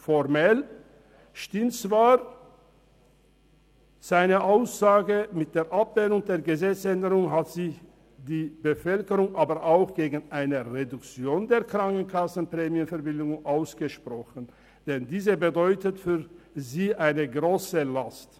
Formell stimmt zwar seine Aussage, mit der Gesetzesänderung hat sich aber die Bevölkerung auch gegen eine Reduktion der Krankenkassenprämienverbilligungen ausgesprochen, denn diese bedeutet für sie eine grosse Last.